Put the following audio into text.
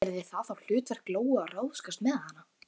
Yrði það þá hlutverk Lóu að ráðskast með hana?